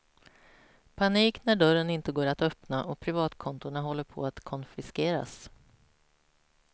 Panik när dörren inte går att öppna och privatkontona håller på att konfiskeras.